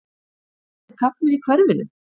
Aðrir karlmenn í hverfinu?